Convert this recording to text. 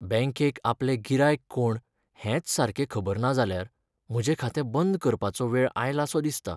बँकेक आपलें गिरायक कोण हेंच सारकें खबर ना जाल्यार म्हजें खातें बंद करपाचो वेळ आयलासो दिसता.